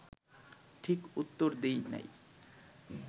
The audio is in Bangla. ঠিক উত্তর দিই নাই